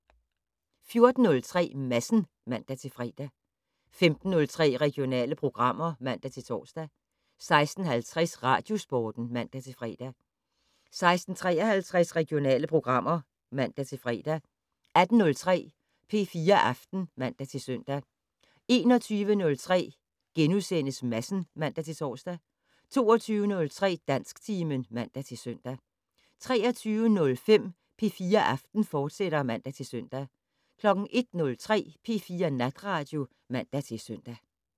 14:03: Madsen (man-fre) 15:03: Regionale programmer (man-tor) 16:50: Radiosporten (man-fre) 16:53: Regionale programmer (man-fre) 18:03: P4 Aften (man-søn) 21:03: Madsen *(man-tor) 22:03: Dansktimen (man-søn) 23:05: P4 Aften, fortsat (man-søn) 01:03: P4 Natradio (man-søn)